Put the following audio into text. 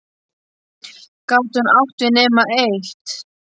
Gat hún átt við nema eitt?